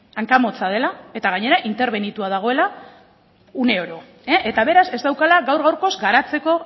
hankamotza dela eta gainera interbenitua dagoela uneoro eta beraz ez daukala gaur gaurkoz garatzeko